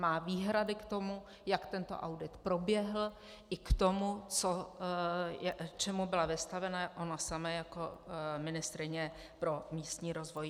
Má výhrady k tomu, jak tento audit proběhl, i k tomu, čemu byla vystavena ona sama jako ministryně pro místní rozvoj.